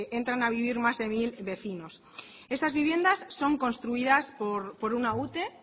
entran a vivir más de mil vecinos estas viviendas son construidas por una ute